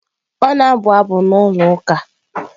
Ọ na-abụ abụ na ụlọ ụka.